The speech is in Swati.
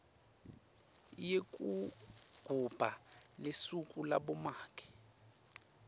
yekugubha lusuku labomake